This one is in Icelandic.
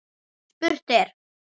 En spurt er: